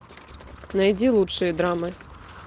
найди лучшие драмы